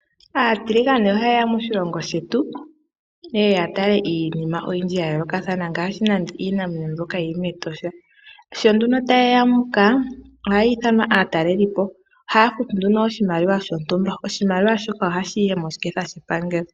Aatiligane oha ye ya moshilongo shetu ye ye ya tale iinima oyindji ya yoolokathana ngaashi nande iinamwenyo mbyoka yi li mEtosha. Sho nduno ta ye ya muka ohaya ithanwa aatalelipo, haya futu nduno oshimaliwa shontumba, oshimaliwa shoka oha shi yi moshiketha shepangelo.